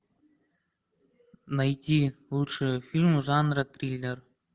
найти лучшие фильмы жанра триллер